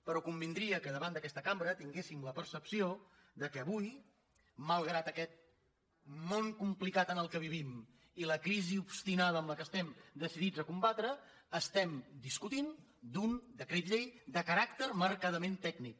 però convindria que davant d’aquesta cambra tinguéssim la percepció que avui malgrat aquest món complicat en què vivim i la crisi obstinada que estem decidits a combatre estem discutint d’un decret llei de caràcter marcadament tècnic